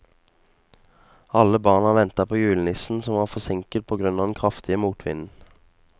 Alle barna ventet på julenissen, som var forsinket på grunn av den kraftige motvinden.